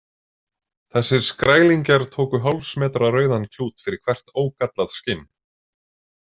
Þessir skrælingjar tóku hálfs metra rauðan klút fyrir hvert ógallað skinn.